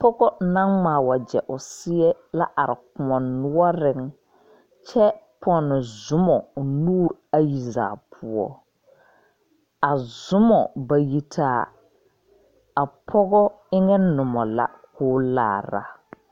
Pɔgɔ nang ngmaa wɔje ɔ seɛ la arẽ a koun nouring kye punni zumo ɔ nuuri ayi zaa puo a zumo bayi taa a pɔgɔ enga numa la koo laara.